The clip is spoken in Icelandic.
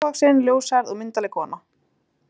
Hún er hávaxin, ljóshærð og myndarleg kona.